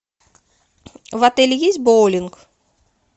в отеле есть боулинг